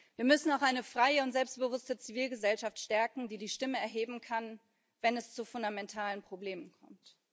Wir müssen auch eine freie und selbstbewusste Zivilgesellschaft stärken, die die Stimme erheben kann, wenn es zu fundamentalen Problemen kommt.